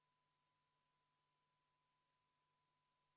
Poolt on 3, vastu 56 ja erapooletuid ei ole.